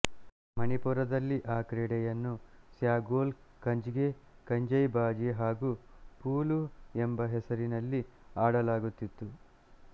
ಮಣಿಪುರದಲ್ಲಿ ಆ ಕ್ರೀಡೆಯನ್ನು ಸ್ಯಾಗೊಲ್ ಕಂಗ್ಜೆ ಕಂಜೈಬಾಜೀ ಹಾಗೂ ಪುಲು ಎಂಬ ಹೆಸರಿನಲ್ಲಿ ಆಡಲಾಗುತ್ತಿತ್ತು